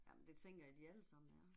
Jamen det tænker jeg de alle sammen er